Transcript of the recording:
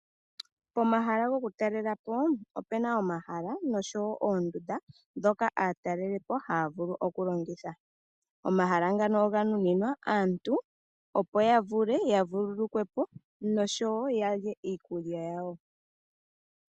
Pomahala gokutalela po opu na omahala noshowo oondunda ndhoka aatalelipo haya vulu oku longitha. Omahala ngaka oga nuninwa aantu opo ya vule ya vululukwe po noshowo ya lye iikulya yawo.